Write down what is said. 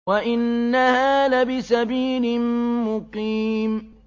وَإِنَّهَا لَبِسَبِيلٍ مُّقِيمٍ